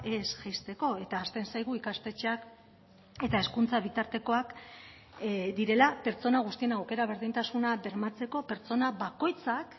ez jaisteko eta ahazten zaigu ikastetxeak eta hezkuntza bitartekoak direla pertsona guztien aukera berdintasuna bermatzeko pertsona bakoitzak